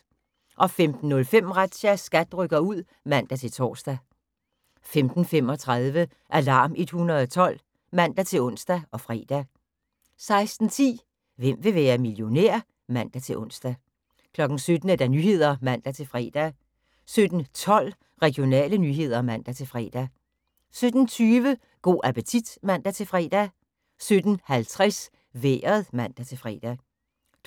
15:05: Razzia – SKAT rykker ud (man-tor) 15:35: Alarm 112 (man-ons og fre) 16:10: Hvem vil være millionær? (man-ons) 17:00: Nyhederne (man-fre) 17:12: Regionale nyheder (man-fre) 17:20: Go' appetit (man-fre) 17:50: Vejret (man-fre)